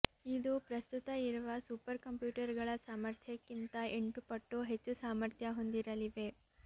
ಇದು ಪ್ರಸ್ತುತ ಇರುವ ಸೂಪರ್ ಕಂಪ್ಯೂಟರ್ಗಳ ಸಾಮರ್ಥ್ಯಕ್ಕಿಂತ ಎಂಟು ಪಟ್ಟು ಹೆಚ್ಚು ಸಾಮರ್ಥ್ಯ ಹೊಂದಿರಲಿವೆ